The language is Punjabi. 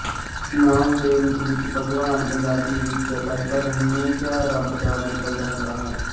ਨਾਂਵ ਦੇ ਰੂਪ ਵਿੱਚ ਭਗਵਾਨ ਪੰਜਾਬੀ ਵਿੱਚ ਲਗਭਗ ਹੰਮੇਸ਼ਾ ਰੱਬ ਦਾ ਮਤਲਬ ਰੱਖਦਾ ਹੈ